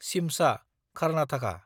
Shimsha (Karnataka)